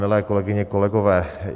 Milé kolegyně, kolegové.